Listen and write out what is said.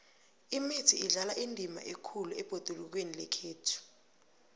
imithi idlala indima ekhulu ebhodulukweni lekhethu